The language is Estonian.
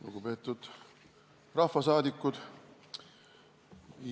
Lugupeetud rahvasaadikud!